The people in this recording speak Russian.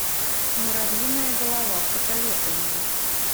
муравьиная голова посоветуй мне